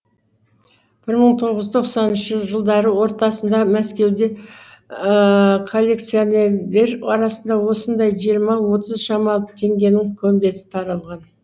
бір мың тоғыз жүз тоқсаныншы жылдары ортасында мәскеуде коллекционерлер арасында осындай жиырма отыз шамалы теңгенің көмбесі таралған